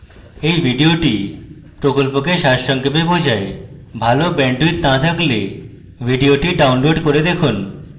এই video প্রকল্পকে সারসংক্ষেপে দেখায় ভালো bandwidth না থাকলে video download করে দেখুন